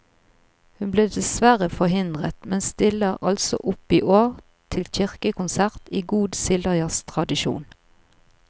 Hun ble desverre forhindret, men stiller altså opp i år til kirkekonsert i god sildajazztradisjon.